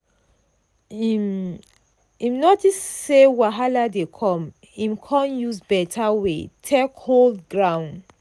im um notice say wahala dey come im con use beta way take hold ground.